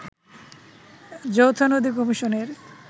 যৌথ নদী কমিশনের